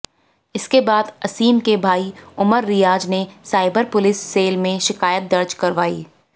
इसके बाद असीम के भाई उमर रियाज ने साइबर पुलिस सेल में शिकायत दर्ज करवाई